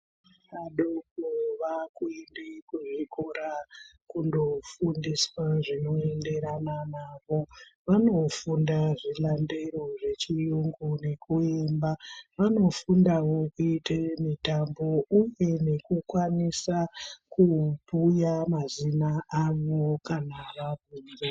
Adoko vaakuende kuzvikoro kundofundiswa zvinoenderana navo, vanofunda zvilandero zvechiyungu nekuemba. Vanofundawo kuite mitambo uye nekukwanisa kubhuya mazina avo kana vabvunzwa.